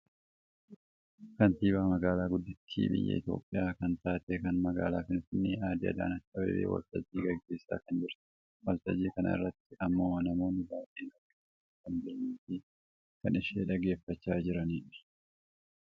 Kaantibaa magaalaa guddittii biyya Itoophiyaa kan taate kan magaalaa Finfinnee aadde Adaanech Abebee waltajjii geggeessaa kan jirtudha. Waltajjii kana irratti ammoo namoonni baayyee argamanii kan jiraniifi kan ishee dhaggeeffachaa jiranidha.